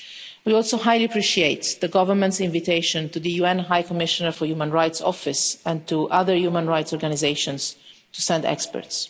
We also highly appreciate the government's invitation to the Office of the UN High Commissioner for Human Rights and to other human rights organisations to send experts.